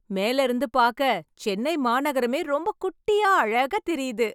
மேல இருந்து பாக்க சென்னை மாநகரமே ரொம்ப குட்டியா அழகா தெரியுது